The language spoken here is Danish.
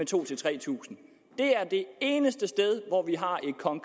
tusind tre tusind det er det eneste sted hvor vi har